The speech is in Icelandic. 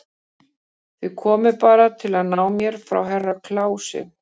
Þið komuð bara til að ná mér frá Herra Kláusi.